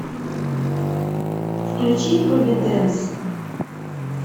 включи провиденс